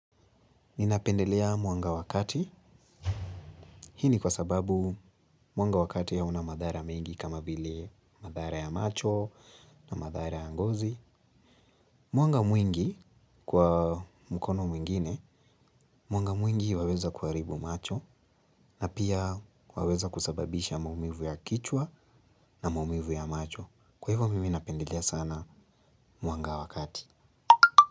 Ninapendelea mwanga wa kati, hii ni kwa sababu mwanga wa kati hauna madhara mingi kama vile madhara ya macho na madhara ya ngozi. Mwanga mwingi kwa mkono mwingine, mwanga mwingi waweza kuharibu macho na pia waweza kusababisha maumivu ya kichwa na maumivu ya macho. Kwa hivyo mimi napendelea sana mwanga wa kati.